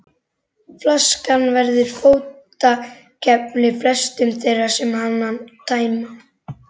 Flaskan verður fótakefli flestum þeim sem hana tæma.